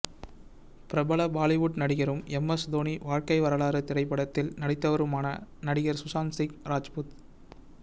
பிரபல பாலிவுட் நடிகரும் எம்எஸ் தோனி வாழ்க்கை வரலாறு திரைப்படத்தில் நடித்தவருமான நடிகர் சுசாந்த் சிங் ராஜ்புத்